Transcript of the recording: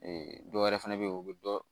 dɔ wɛrɛ fɛnɛ bɛ ye o bɛ dɔ